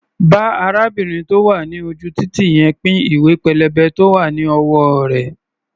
Bá arábìnrin tó wà ní ojú-títì yẹn pín ìwé-pélébé tó wá̀ ní ọwọ́ rẹ̀.